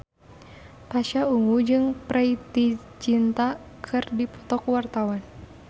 Pasha Ungu jeung Preity Zinta keur dipoto ku wartawan